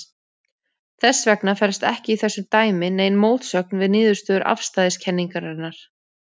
Þess vegna felst ekki í þessu dæmi nein mótsögn við niðurstöður afstæðiskenningarinnar.